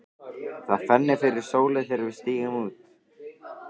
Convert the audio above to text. Það fennir fyrir sólu þegar við stígum út.